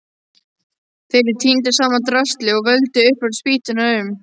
Þeir tíndu saman draslið og völdu óbrotnu spýturnar úr.